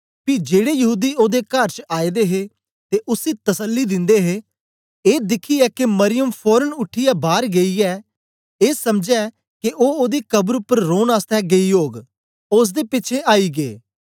पी जेड़े यहूदी ओदे कर च आए दे हे ते उसी तसल्ली दिंदे हे ए दिखया के मरियम फोरन उठीयै बार गेई ऐ ऐ समझै के ओ ओदी कब्र उपर रौन आसतै गेई ओग ओसदे पिछें आईयै